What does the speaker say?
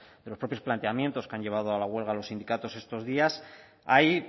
propios planteamientos que han llevado a la huelga a los sindicatos estos días hay